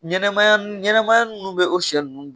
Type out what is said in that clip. Ɲɛnɛmaya n ɲɛnɛmaya nn bɛ o sɛ nn